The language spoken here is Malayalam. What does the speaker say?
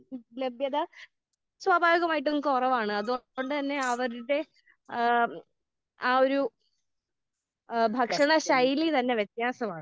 ലഭ്യത സ്വാഭാവികമായിട്ടും കുറവാണ്. അപ്പൊ അത് കൊണ്ട് തന്നെ അവരുടെ ഏഹ് ആഹ് ഒരു ഭക്ഷണ ശൈലിയിൽ തന്നെ വ്യത്യാസമാണ്.